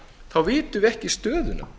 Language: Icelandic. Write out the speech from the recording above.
þá vitum við ekki stöðuna